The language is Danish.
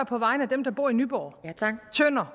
på vegne af dem der bor i nyborg tønder